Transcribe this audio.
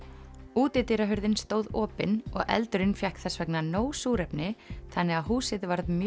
útidyrahurðin stóð opin og eldurinn fékk þess vegna nóg súrefni þannig að húsið varð mjög